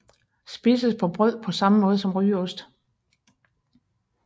Spises på brød på samme måde som rygeost